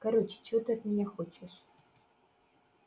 короче чего ты от меня хочешь